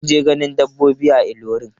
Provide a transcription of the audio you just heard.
Sun je ganin dabbobi a Ilorin.